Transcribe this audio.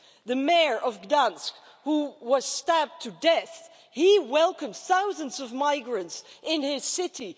The mayor of Gdańsk, who was stabbed to death, welcomed thousands of migrants into his city.